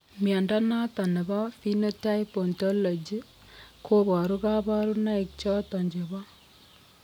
Mnyondo noton nebo Phenotype Ontology koboru kabarunaik choton chebo